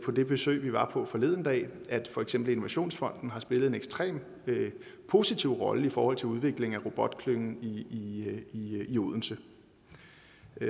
det besøg vi var på forleden dag at for eksempel innovationsfonden har spillet en ekstremt positiv rolle i forhold til udviklingen af robotklyngen i i odense